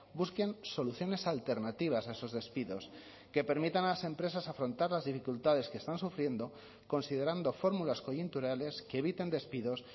busquen soluciones alternativas a esos despidos que permitan a las empresas afrontar las dificultades que están sufriendo considerando fórmulas coyunturales que eviten despidos